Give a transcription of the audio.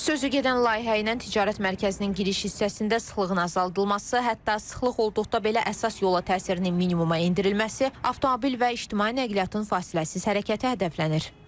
Sözügedən layihə ilə ticarət mərkəzinin giriş hissəsində sıxlığın azaldılması, hətta sıxlıq olduqda belə əsas yola təsirini minimuma endirilməsi, avtomobil və ictimai nəqliyyatın fasiləsiz hərəkəti hədəflənir.